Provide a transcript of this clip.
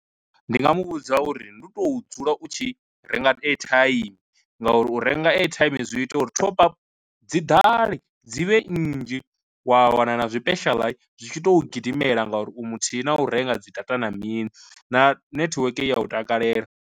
Ndi nga muvhudza uri ndi u to dzula u tshi renga airtime nga uri u renga airtime zwi ita uri thop up dzi ḓale dzi vhe nnzhi wa wana na tshipeshala zwi tshi to gidimela ngauri u muthihi na u renga dzi data na mini na netiweke ya u takalela.